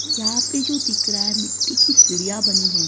यहां पे जो दिख रहा है मिट्टी की सीढ़ियां बनी हैं।